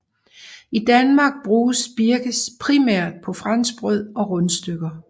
I Danmark bruges birkes primært på franskbrød og rundstykker